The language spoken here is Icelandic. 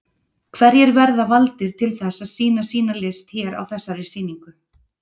Hverjir verða valdir til þess að sýna sína list hér á þessari sýningu?